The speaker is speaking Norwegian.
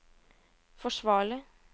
forsvarlig